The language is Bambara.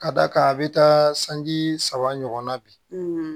Ka d'a kan a bɛ taa sanji saba ɲɔgɔnna bi